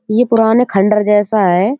ये पुराने खंडर जैसा है।